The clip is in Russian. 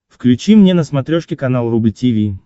включи мне на смотрешке канал рубль ти ви